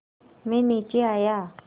मैं नीचे आया